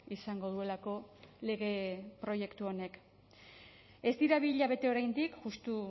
izango duelako lege proiektu honek ez dira bi hilabete oraindik justu